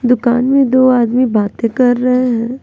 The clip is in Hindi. दुकान में दो आदमी बातें कर रहे हैं।